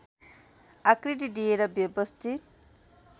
आकृति दिएर व्यवस्थित